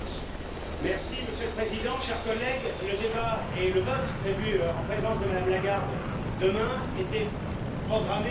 Monsieur le Président, chers collègues, le débat et le vote prévus en présence de Mme Lagarde demain étaient programmés de longue date.